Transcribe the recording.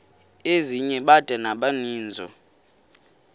ezinye bada nabaninizo